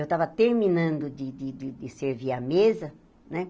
Eu estava terminando de de de servir a mesa, né?